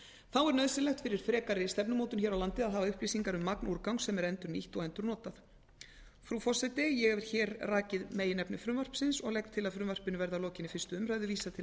þá er nauðsynlegt fyrir frekari stefnumótun hér á landi að hafa upplýsingar um magn úrgangs sem er endurnýtt og endurnotað frú forseti ég hef hér rakið meginefni frumvarpsins og legg til að frumvarpinu verði að lokinni fyrstu umræðu vísað til